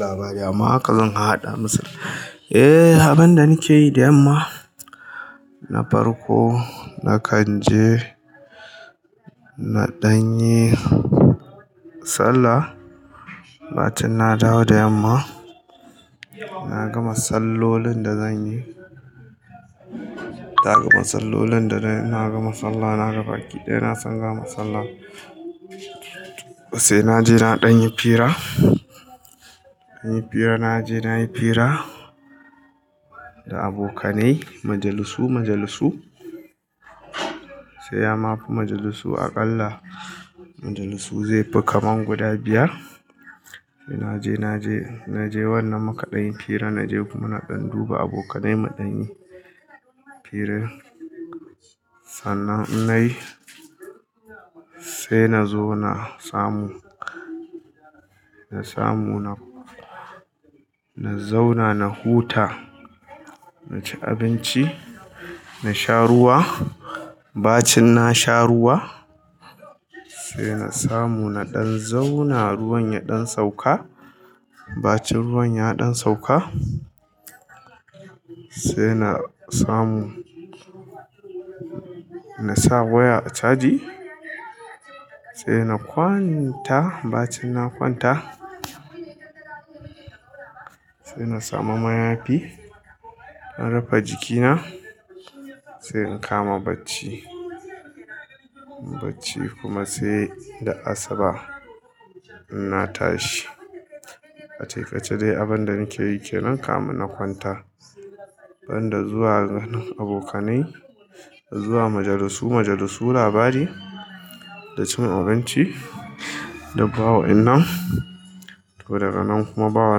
Labari amma haka zan har haɗa masa. Eh abin da nake yi da yamma, na farko na kan je na ɗan yi sallah. Bacin na dawo da yamma, na gama sallolin da zan yi. Na gama sallolin da na gama sallah, na gama baki dai na sanga masallan. Sai naje na ɗan yi fira, na yi fira naje na yi fira da abokanai, majalisu majalisu. Sai amma majalisu aƙalla majalisu zai fi kamar guda biyar. Na je na je na je wannan mukaɗan fira naje kuma na ɗan duba abokanai, mu ɗan yi fira. Sannan inna yi sai na zo na samu, na samu na zauna na huta, na ci abinci, na sha ruwa. Bacin na sha ruwa sai na samu na ɗan zauna ruwan ya ɗan sauka. Bacin ruwan ya ɗan sauka sai na samu na sa waya a caji sai na kwanta. Bacin na kwanta sai na samu mayafi na rufa jikina sai in kama bacci. Bacci kuma sai da asuba inna tashi. A taƙaice dai abin da nake yi ke nan kamin na kwanta. Banda zuwa ganin abokanai, zuwa majalisu majalisu, labari da cin abinci duk bawa in nan. To daga nan kuma ba wa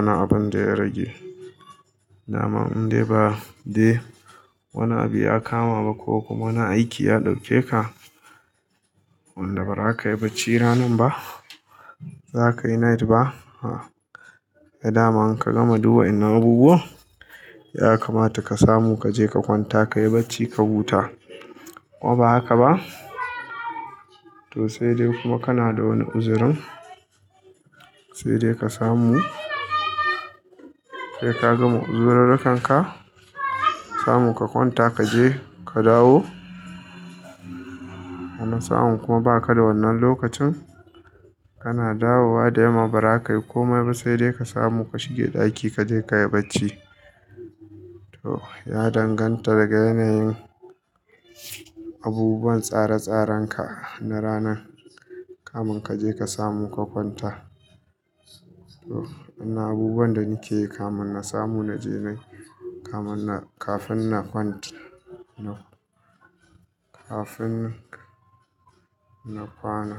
ni abun da ya rage. Da ma in dai ba dai wani abu ya kama ba ko kuma wani aiki ya ɗauke ka, wanda ba ra ka yi bacci ranan ba, ba za ka yi night ba, ai da man in ka gama duwa in nan abubuwan ya kamata ka samu ka je ka kwanta ka yi bacci ka huta. Ko ba haka ba? To sai dai kuma kana da wani uzurin sai dai ka samu sai ka gama uzururrukan ka samu ka kwanta ka je ka dawo. Wani sa'an kuma ba ka da wannan lokacin kana dawowa da yamma ba za ka yi komai ba sai dai ka samu ka shige ɗaki ka je ka yi bacci. To ya danganta daga yanayin abubuwan tsare tsarenka na ranan. Kamun ka je ka samu ka kwanta. To wannan abubuwan da nike yi kamun na samu na je nan kafin na kwanta kafin na kwana.